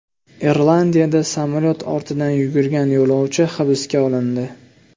Irlandiyada samolyot ortidan yugurgan yo‘lovchi hibsga olindi.